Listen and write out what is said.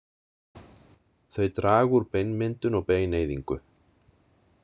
Þau draga úr beinmyndun og beineyðingu.